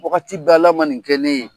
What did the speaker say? Wagati bɛɛ Ala man nin kɛ ne ye.